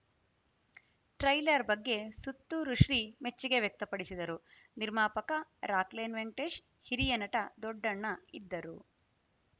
trailer ಬಗ್ಗೆ ಸುತ್ತೂರುಶ್ರೀ ಮೆಚ್ಚುಗೆ ವ್ಯಕ್ತಪಡಿಸಿದರು ನಿರ್ಮಾಪಕ ರಾಕ್‌ಲೈನ್‌ ವೆಂಕಟೇಶ್‌ ಹಿರಿಯ ನಟ ದೊಡ್ಡಣ್ಣ ಇದ್ದರು